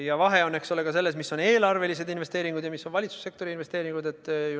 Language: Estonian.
Ja vahe on ka selles, eks ole, mis on eelarvelised investeeringud ja mis on valitsussektori investeeringud.